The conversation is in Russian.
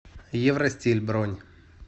евростиль бронь